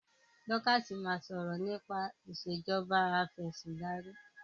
Dorcas má sọrọ nipa Ìṣèjọba Afẹ̀sìndarí.